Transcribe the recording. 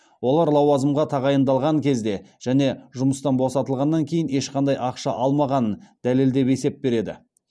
олар лауазымға тағайындалған кезде және жұмыстан босатылғаннан кейін ешқандай ақша алмағанын дәлелдеп есеп береді